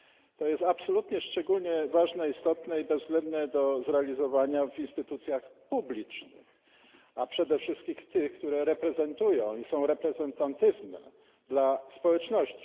To jest absolutnie szczególnie ważne, istotne i bezwzględne do zrealizowania w instytucjach publicznych, a przede wszystkim tych, które reprezentują i są reprezentatywne dla społeczności.